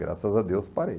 Graças a Deus, parei.